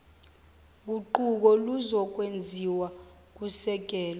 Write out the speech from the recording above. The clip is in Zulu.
guquko luzokwenziwa kusekelwa